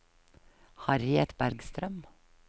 Harriet Bergstrøm